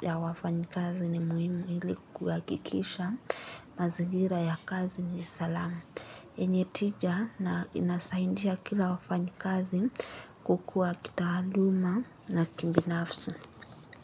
ya wafanyikazi ni muhimu ili kuhakikisha mazigira ya kazi ni salama. Yenye tija na inasaidia kila wafanyikazi kukua kitaaluma na kibinafsi.